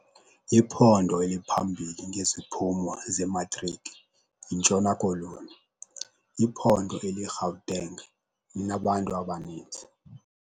Iphondo eliphambili ngeziphumo zematriki yiNtshona Koloni. iphondo eliyiGauteng linabantu abaninzi